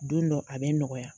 Don dɔ a bɛ nɔgɔya.